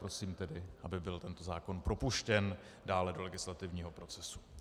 Prosím tedy, aby byl tento zákon propuštěn dále do legislativního procesu.